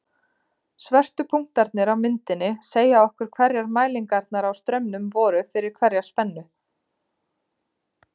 Svörtu punktarnir á myndinni segja okkur hverjar mælingarnar á straumnum voru fyrir hverja spennu.